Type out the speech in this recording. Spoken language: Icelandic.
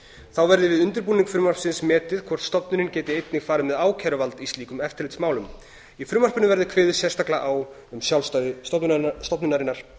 þá verði við undirbúning frumvarpsins metið hvort stofnunin geti einnig farið með ákæruvald í slíkum eftirlitsmálum í frumvarpinu verði kveðið sérstaklega á um sjálfstæði stofnunarinnar